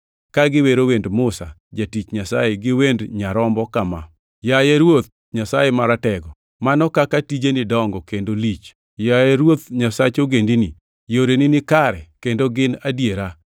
ka giwero wend Musa jatich Nyasaye gi wend Nyarombo kama: “Yaye Ruoth Nyasaye Maratego, mano kaka tijeni dongo kendo lich. Yaye Ruodh Nyasaye ogendini, yoreni nikare kendo gin adiera.